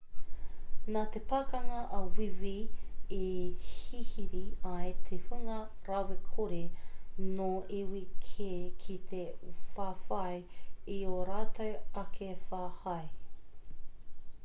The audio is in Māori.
nā te pakanga a wīwī i hihiri ai te hunga rawakore nō iwi kē ki te whawhai i ō rātou ake whahai